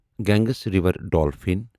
گنگس river dolphin